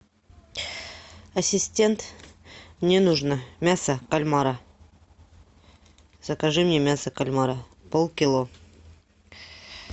ассистент мне нужно мясо кальмара закажи мне мясо кальмара полкило